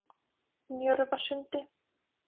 Njörvasundi